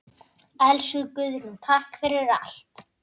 Elsku Guðrún, takk fyrir allt.